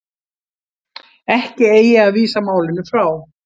Ekki eigi að vísa málinu frá